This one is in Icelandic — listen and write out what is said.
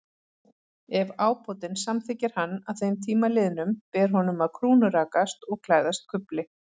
Ef ábótinn samþykkir hann að þeim tíma liðnum, ber honum að krúnurakast og klæðast kufli.